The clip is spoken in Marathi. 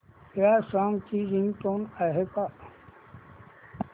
या सॉन्ग ची रिंगटोन आहे का